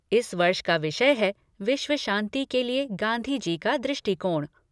इस वर्ष का विषय है विश्व शांति के लिए गांधी जी का दृष्टिकोण।